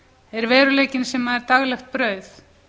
er veruleikinn sem er daglegt brauð